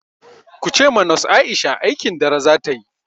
Kuce ma nos Aisha aikin dare zata yi!